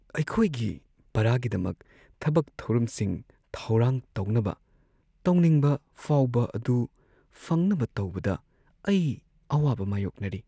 ꯑꯩꯈꯣꯏꯒꯤ ꯄꯔꯥꯒꯤꯗꯃꯛ ꯊꯕꯛ-ꯊꯧꯔꯝꯁꯤꯡ ꯊꯧꯔꯥꯡ ꯇꯧꯅꯕ ꯇꯧꯅꯤꯡꯕ ꯐꯥꯎꯕ ꯑꯗꯨ ꯐꯪꯅꯕ ꯇꯧꯕꯗ ꯑꯩ ꯑꯋꯥꯕ ꯃꯥꯌꯣꯛꯅꯔꯤ꯫